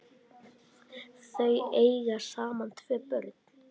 Þau eiga saman tvö börn.